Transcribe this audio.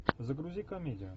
загрузи комедию